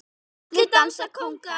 Allir dansa kónga